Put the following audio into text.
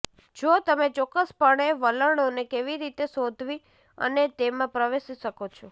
જો તમે ચોક્કસપણે વલણોને કેવી રીતે શોધવી અને તેમાં પ્રવેશી શકો છો